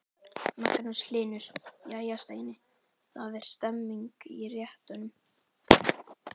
Magnús Hlynur: Jæja Steini, það er stemning í réttunum?